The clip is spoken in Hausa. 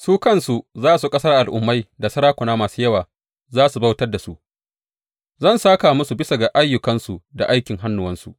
Su kansu al’ummai da sarakuna masu yawa za su bautar da su; zan sāka musu bisa ga ayyukansu da aikin hannuwansu.